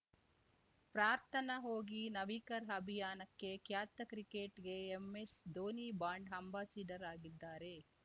ಪ್ರಾರ್ಥನಾ ಹೋಗಿ ನವೀಕರ್ ಅಭಿಯಾನಕ್ಕೆ ಖ್ಯಾತ ಕ್ರಿಕೆಟ್ಗೆ ಎಂಎಸ್ಧೋನಿ ಬಾಂಡ್ ಅಂಬಾಸಿಡರ್ ಆಗಿದ್ದಾರೆ